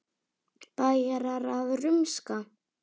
Bæjarar að rumska?